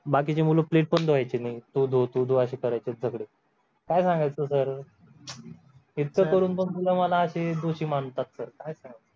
बाकीचे मुलं plate पण धुवायचे नाही तू धु तु धु असं करायचे सगळे काय सांगायचं sir इतकं करून पण तुम्ही मला एक दोषी मानतात sir काय सांगायचं